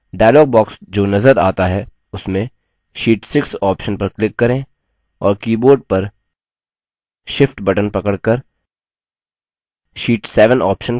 dialog box जो नज़र आता है उसमें sheet 6 option पर click करें और keyboard पर shift button पकड़कर sheet 7 option click करें